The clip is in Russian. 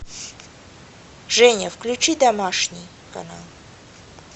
женя включи домашний канал